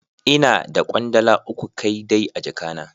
Ina da kwandala uku kai dai a jaka na.